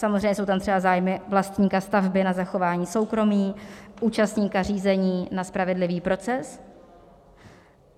Samozřejmě jsou tam třeba zájmy vlastníka stavby na zachování soukromí, účastníka řízení na spravedlivý proces.